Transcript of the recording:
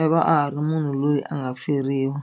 i va a ha ri munhu loyi a nga feriwa.